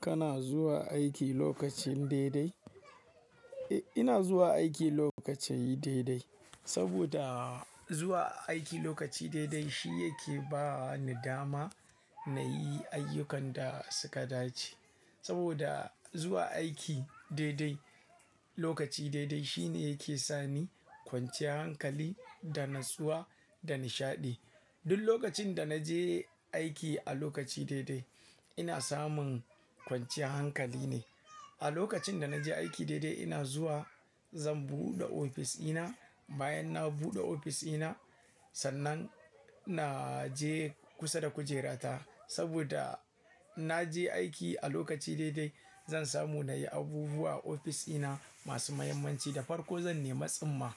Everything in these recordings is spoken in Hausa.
Kana zuwa aiki lokacin daidai? Eh, ina zuwa aiki lokaci daidai. Saboda zuwa aiki lokaci daidai shi yake ba ni dama na yi ayyukan da suka dace. Saboda zuwa aiki daidai, lokaci daidai shi ne yake sa ni kwanciyar hankali da natsuwa da nishaɗi. Duk lokacin da na je aiki a lokaci daidai ina samun kwanciyar hankali ne. A lokacin da na je aiki daidai ina zuwa zan buɗe ofis ina. Bayan na buɗe ofis ina, sannan na je kusa da kujerata. Saboda na je aiki a lokaci daidai zan samu na yi abubuwa a ofis ina masu muhimmanci da farko zan nema tsamma.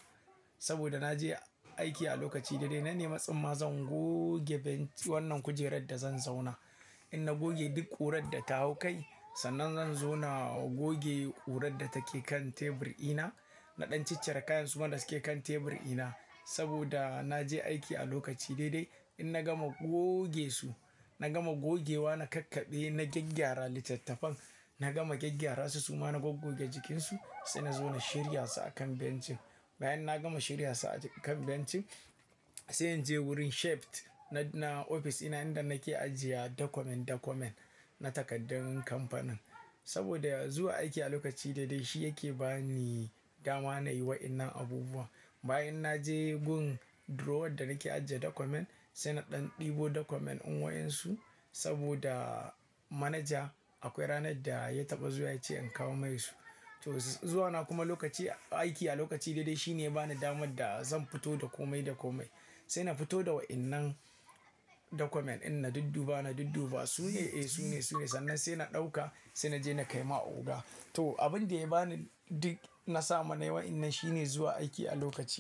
Saboda na je aiki a lokaci daidai na nema tsamma zan goge benk-- wannan kujerar da zan zauna. In na goge duk ƙurar da ta hau kai, sannan zan zo na goge ƙurar da take kan tebur ina. Na ɗan ciccire kayansu ma da suke kan tebur ina. Saboda na je aiki a lokaci daidai in na gama goge su, na gama gogewa na kakkaɓe na gyaggyara littattafan. Na gama gyaggyara su suma na gogge jikinsu sai na zo na shirya su a kan bencin. Bayan na gama shirya su a kan bencin sai in je wurin shaft na, na ofis ina inda nake ajiye document document na takaddun kamfanin. Saboda zuwa aiki a lokaci daidai shi yake ba ni dama na yi waɗannan abubuwa. Bayan na je gun drawer da nake ajiye document sai na ɗan ɗebo document un wayansu saboda manaja akwai ranar da ya taɓa zuwa ya ce in kawo mai su. To zuwa na kuma lokaci, aiki a lokaci daidai shi ne ya bani damar da zan fito da kome document. Sai na fito da waɗannan document in na dudduba, na dudduba su ne? Eh su ne, su ne. Sannan sai na ɗauka sai na je na kai ma oga. To abin da ya bani duk na samu na yi waɗannan shi ne zuwa aiki a lokaci.